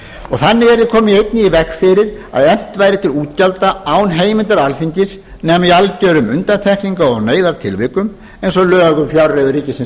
þannig yrði einnig komið í veg fyrir að efnt væri til útgjalda án heimildar alþingis nema í algjörum undantekningar og neyðartilvikum eins og lög um fjárreiður ríkisins